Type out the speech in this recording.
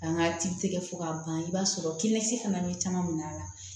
An ka tigi tɛgɛ fo ka ban i b'a sɔrɔ kɛnɛya fana bɛ caman minɛ a la